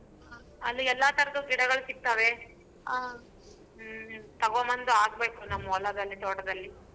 ಅಲ್ಲಿ ಎಲ್ಲಾ ತರಹದ ಗಿಡಗಳ್ ಸಿಗ್ತಾವೆ ಆ ಹ್ಮ್ ತಗೊ ಬಂದ್ ಹಾಕ್ಬೇಕು ನಮ್ಮ್ ಹೊಲದಲ್ಲಿ ತೋಟದಲ್ಲಿ.